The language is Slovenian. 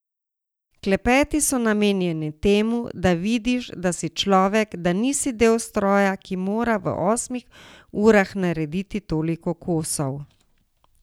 Klepeti so namenjeni temu, da vidiš, da si človek, da nisi del stroja, ki mora v osmih urah narediti toliko kosov.